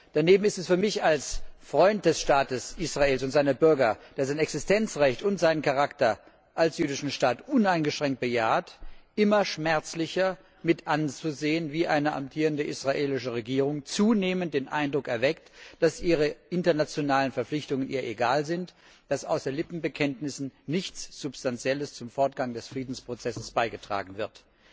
Daneben ist es für mich als Freund des Staates Israels und seiner Bürger, der dessen Existenzrecht und seinen Charakter als jüdischer Staat uneingeschränkt bejaht, immer schmerzlicher, mit anzusehen, wie eine amtierende israelische Regierung zunehmend den Eindruck erweckt, dass ihr ihre internationalen Verpflichtungen egal sind, dass außer Lippenbekenntnissen nichts Substanzielles zum Fortgang des Friedensprozess beigetragen wird.